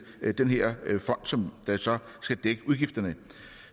den her fond som så skal dække udgifterne